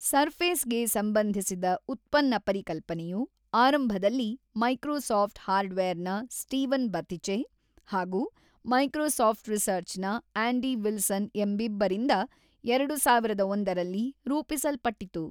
Surface ಗೆ ಸಂಬಂಧಿಸಿದ ಉತ್ಪನ್ನ ಪರಿಕಲ್ಪನೆಯು ಆರಂಭದಲ್ಲಿ ಮೈಕ್ರೋಸಾಫ್ಟ್ ಹಾರ್ಡ್ ವೇರ್ ನ ಸ್ಟೀವನ್ ಬಥಿಚೆ ಹಾಗೂ ಮೈಕ್ರೋಸಾಫ್ಟ್ ರಿಸರ್ಚ್ ನ ಆಂಡಿ ವಿಲ್ಸನ್ ಎಂಬಿಬ್ಬರಿಂದ ಎರಡು ಸಾವಿರದ ಒಂದರಲ್ಲಿ ರೂಪಿಸಲ್ಪಟ್ಟಿತು.